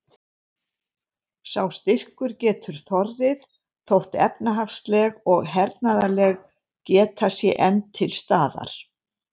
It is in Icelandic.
Sá styrkur getur þorrið þótt efnahagsleg og hernaðarleg geta sé enn til staðar.